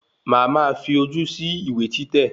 Má a máa fi ojú sí ìwé títẹ̀